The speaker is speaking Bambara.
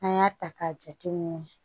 An y'a ta k'a jate minɛ